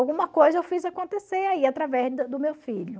Alguma coisa eu fiz acontecer aí através do do meu filho.